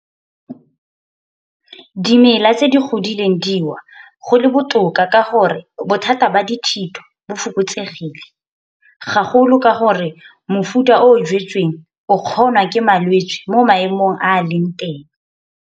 Dimela tse di godileng di wa go le botoka ka gore bothata ba dithito bo fokotsegile. Gagolo ka gore mofuta o o jwetsweng o kgonwa ke malwetse mo maemong a a leng teng.